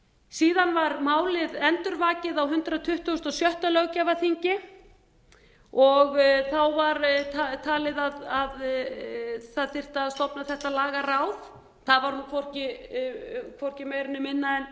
síðan var málið endurvakið á hundrað tuttugasta og sjötta löggjafarþingi þáv á talið að það þyrfti að stofna þetta lagaráð það var hvorki meira né minna en